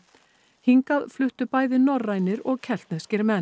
hingað fluttu bæði norrænir og keltneskir menn